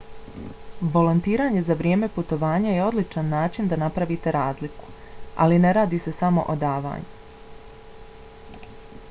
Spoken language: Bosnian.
volontiranje za vrijeme putovanja je odličan način na napravite razliku ali ne radi se samo o davanju